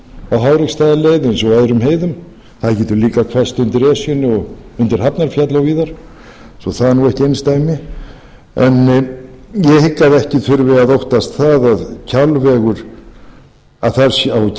hvesst á háreksstaðaleið eins og öðrum heiðum það getur líka hvesst undir esjunni undir hafnarfjalli og víðar svo það er ekki einsdæmi en ég hygg að ekki þurfi að óttast það að á kjalveg